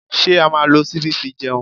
Ṣé a máa lo ṣíbí fi jẹun?